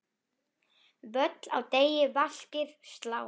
Völl á degi vaskir slá.